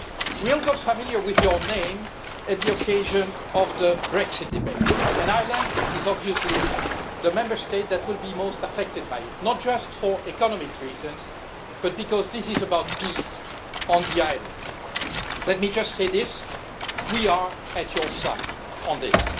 We all got familiar with your name on the occasion of the Brexit debate, and Ireland is obviously the Member State that will be most affected by it not just for economic reasons but because this is about peace on the island. Let me just say this we are at your side on this.